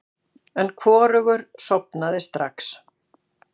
En hvorugur sofnaði strax.